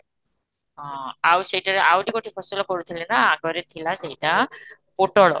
ହଁ ଆଉ ସେଟରେ ଆହୁରି ଗୋଟେ ଫସଲ ପଡୁଥିଲେ ନା ଆଗରେ ଥିଲା ସେଇଟା ପୋଟଳ